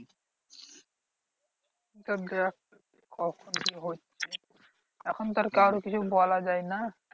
এবার দেখ এখন আর কারো কিছু বলা যায় না?